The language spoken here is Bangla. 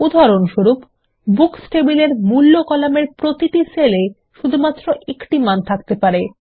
উদাহরণস্বরূপ বুকস টেবিলের মূল্য কলামের প্রতিটি সেল এ শুধুমাত্র একটি মান থাকতে পারে